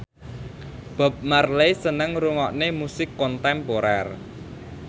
Bob Marley seneng ngrungokne musik kontemporer